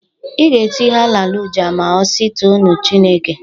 Ị ga-eti Hallelujah ma ọ si toonu Chineke,